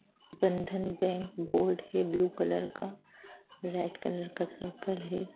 बंधन bank board है blue colour का रेड कलर का सर्किल है ।